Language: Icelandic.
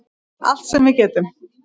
Allt sem við getum.